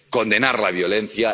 condenar la violencia